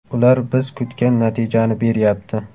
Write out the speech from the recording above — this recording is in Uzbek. Ular biz kutgan natijani beryapti.